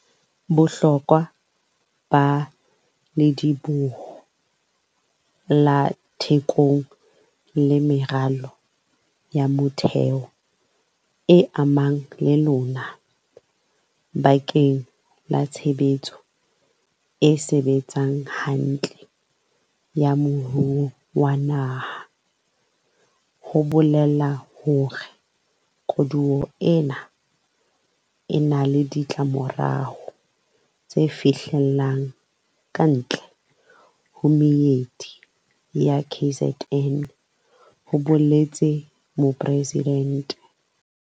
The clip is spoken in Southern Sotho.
"Bohlokwa ba Lediboho la Thekong le meralo ya motheo e amanang le lona bakeng la tshebetso e sebetsang hantle ya moruo wa naha bo bolela hore koduwa ena e na le ditlamorao tse fihlellang kantle ho meedi ya KZN," ho boletse Mopresidente.